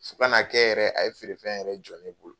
Fo kana kɛ yɛrɛ, a ye feerefɛn yɛrɛ jɔ n bolo.